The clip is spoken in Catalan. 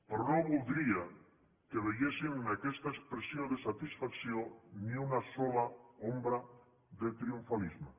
però no voldria que veiessin en aquesta expressió de satisfacció ni una sola ombra de triomfalisme